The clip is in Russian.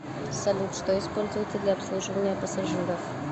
салют что используется для обслуживания пассажиров